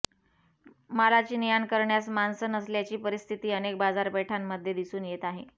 मालाची नेआण करण्यास माणसं नसल्याची परिस्थिती अनेक बाजारपेठांमध्ये दिसून येत आहे